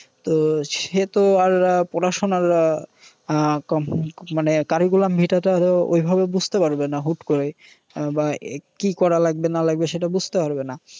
তো সে তো আর পড়াশুনার আহ মানে আহ curriculam vita তো আরও বুঝতে পারবে না হুট করে। বা কি করা লাগবে না লাগবে সেটা বুঝতে পারবে না।